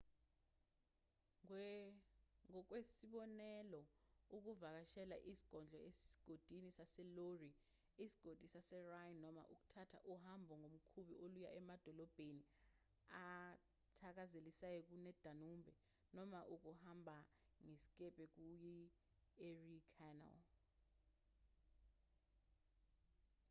ngokwesibonelo ukuvakashela izigodlo esigodini saseloire isigodi saserhine noma ukuthatha uhambo ngomkhumbi oluya emadolobheni athakazelisayo kuyidanube noma ukuhamba ngesikebhe kuyi-erie canal